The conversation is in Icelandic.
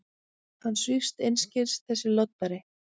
Hann svífst einskis, þessi loddari!